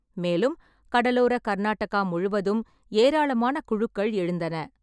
மேலும், கடலோர கர்நாடகா முழுவதும் ஏராளமான குழுக்கள் எழுந்தன.